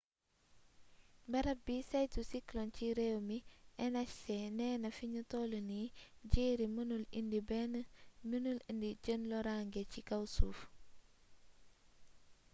barab bi saytu cyclone ci réew mi nhc neena fiñu tollu nii jerry mënul indi jenn loraange ci kaw suuf